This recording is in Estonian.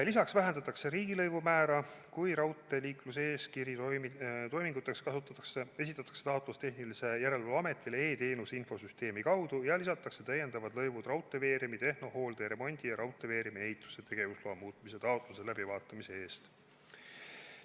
Lisaks vähendatakse riigilõivu määra, kui raudteeliiklusregistri toiminguteks esitatakse taotlus tehnilise järelevalve ametile e-teenuse infosüsteemi kaudu, ja lisatakse täiendavad lõivud raudteeveeremi tehnohoolde ja remondi ja raudteeveeremi ehituse tegevusloa muutmise taotluse läbivaatamise eest.